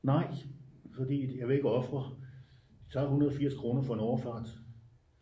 nej fordi jeg vil ikke ofre de tager 180 kroner for en overfart